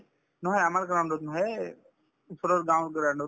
নহয় আমাৰ ground ত নহয় এই ওচৰৰ গাওঁৰ ground ত